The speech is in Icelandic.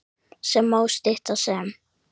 sem má stytta sem